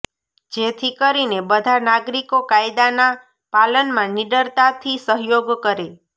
જેથી કરીને બધા નાગરિકો કાયદાના પાલનમાં નિડરતાથી સહયોગ કરે